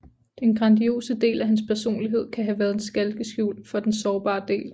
Den grandiose del af hans personlighed kan have været et skalkeskjul for den sårbare del